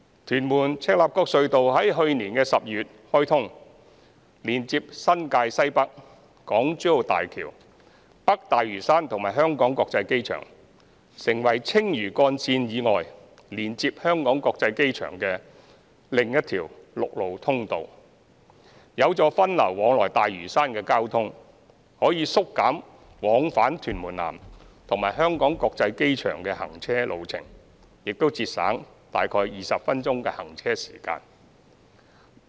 屯門—赤鱲角隧道於去年12月開通，連接新界西北、港珠澳大橋、北大嶼山和香港國際機場，成為青嶼幹線以外，連接香港國際機場的另一條陸路通道，有助分流往來大嶼山的交通，可以縮減往返屯門南和香港國際機場的行車路程，並節省約20分鐘行車時間。